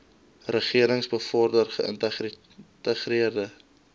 regerings bevorder geïntegreerde